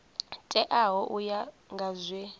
teaho u ya nga zwe